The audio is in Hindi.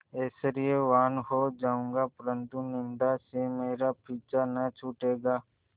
ऐश्वर्यवान् हो जाऊँगा परन्तु निन्दा से मेरा पीछा न छूटेगा